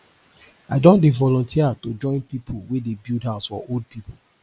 i don dey volunteer to join pipu wey dey build house for old pipu